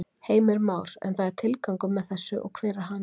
Heimir Már: En það er tilgangur með þessu og hver er hann?